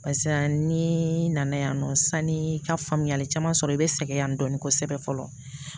Barisa ni nana yan nɔ sani i ka faamuyali caman sɔrɔ i bɛ sɛgɛn yan dɔɔni kosɛbɛ fɔlɔ